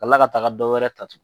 Ka tila ka taga dɔwɛrɛ ta tu